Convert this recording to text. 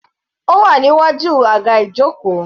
Ó wà níwájú aga ijoko.